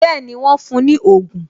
Bẹẹni, wọn fún ní ogun